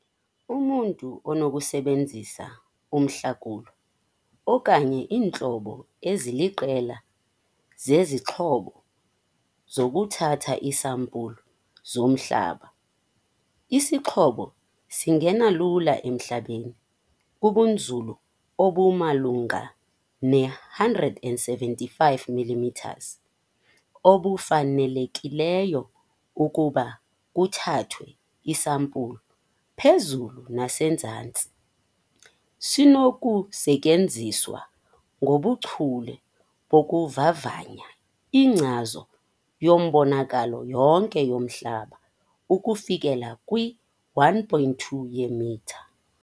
Umntu unokusebenzisa umhlakulo, okanye iintlobo eziliqela zezixhobo zokuthatha iisampulu zomhlaba. Isixhobo singena lula emhlabeni, kubunzulu obumalunga ne-175 mm obufanelekileyo ukuba kuthathwe iisampulu phezulu nasezantsi. Sinokusetyenziswa ngobuchule bokuvavanya inkcazo yembonakalo yonke yomhlaba ukufikelela kwi-1,2 yeemitha.